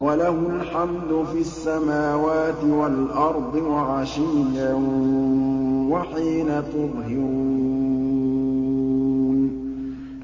وَلَهُ الْحَمْدُ فِي السَّمَاوَاتِ وَالْأَرْضِ وَعَشِيًّا وَحِينَ تُظْهِرُونَ